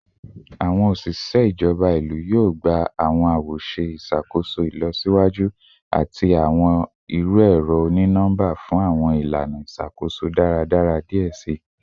Awọn oṣiṣẹ ijọba ilu yoo gba awọn awoṣe iṣakoso ilọsiwaju ati awọn iru ẹrọ oni-nọmba fun awọn ilana iṣakoso daradara diẹ sii